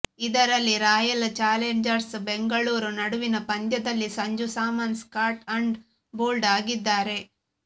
ಇದರಲ್ಲಿ Royal Challengers Bengaluru ನಡುವಿನ ಪಂದ್ಯದಲ್ಲಿ Sanju Samson caught and bowled ಆಗಿದ್ದಾರೆ